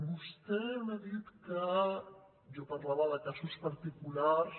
vostè m’ha dit que jo parlava de casos particulars